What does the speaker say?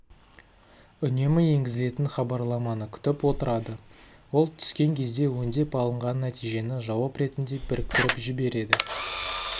үнемі енгізілетін хабарламаны күтіп отырады ол түскен кезде өңдеп алынған нәтижені жауап ретінде біріктіріп жібереді